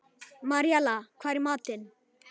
Maríella, hvað er í matinn?